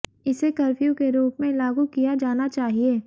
इसे कर्फ्यू के रूप में लागू किया जाना चाहिए